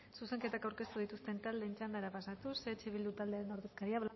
zuzenketak aurkeztu dituzten taldeen txandara pasatuz eh bildu taldearen ordezkaria